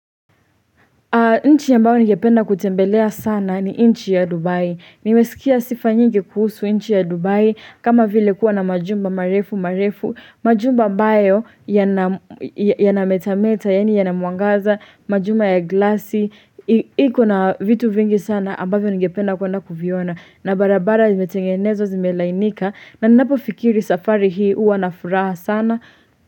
Nchi ambayo ningependa kutembelea sana ni nchi ya Dubai. Nimesikia sifa nyingi kuhusu nchi ya Dubai kama vile kuwa na majumba marefu marefu. Majumba ambayo yanametameta yaani yana mwangaza, majumba ya glasi. Iko na vitu vingi sana ambavyo ningependa kuenda kuviona. Na barabara zimetengenezwa zimelainika. Na ninapofikiri safari hii huwa na furaha sana.